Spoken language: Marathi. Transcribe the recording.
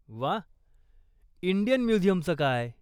वा... इंडियन म्युझियमचं काय?